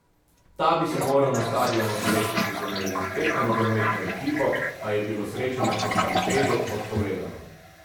Ta bi se moral na stadionu srečati z univerzitetno nogometno ekipo, a je bilo srečanje po stampedu odpovedano.